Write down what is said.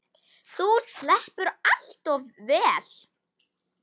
Þú sleppur allt of vel.